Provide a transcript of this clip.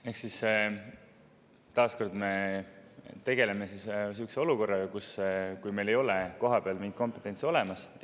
Ehk siis taas kord me tegeleme sihukese olukorraga, kui meil ei ole kohapeal mingit kompetentsi olemas.